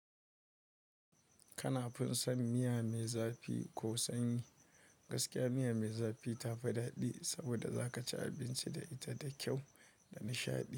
Kana fin san miya mai zafi ko sanyi. Gaskiya miya mai zafi tafi daɗi saboda za ka ci abinci da ita da kyau da nishaɗi.